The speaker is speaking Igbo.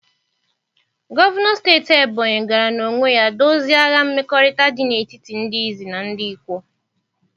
Gọvanọ steeti Ebony gara n'onwe ya dozie agha mmekọrịta dị n'etiti ndị Izi na ndị Ikwo.